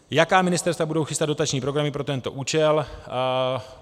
Jaká ministerstva budou chystat dotační programy pro tento účel?